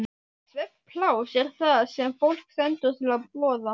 Svefnpláss er það sem fólki stendur til boða.